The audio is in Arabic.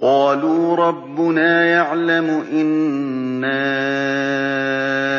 قَالُوا رَبُّنَا يَعْلَمُ إِنَّا